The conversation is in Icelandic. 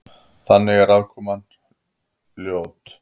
Þannig að aðkoman var ljót.